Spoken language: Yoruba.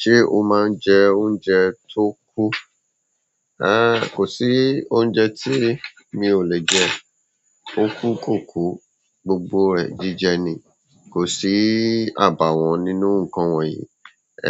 Ṣé o máa ń jẹ oúnjẹ tó kù? Rárá, kò sí oúnjẹ tí mi ò lè jẹ. Ókú kòkú, gbogbo rẹ̀ jíjẹ ni. Kò sí àbàwọ́n nínú nǹkan wọ̀nyí.